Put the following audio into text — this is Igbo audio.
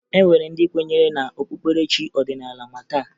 E nwere ndị kwenyere na okpukperechi ọdịnaala ma taa